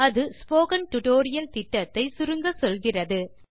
அது spoken tutorial திட்டத்தை சுருங்கச்சொல்கிறது